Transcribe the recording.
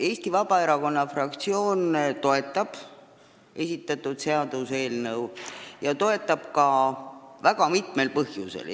Eesti Vabaerakonna fraktsioon toetab esitatud seaduseelnõu ja ta toetab seda väga mitmel põhjusel.